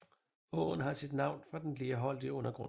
Åen har sit navn fra den lerholdige undergrund